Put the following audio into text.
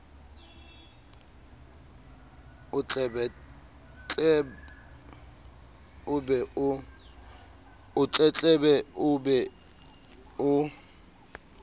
o tletlebe o be o